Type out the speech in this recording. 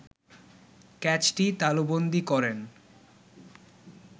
ক্যাচটি তালুবন্দী করেন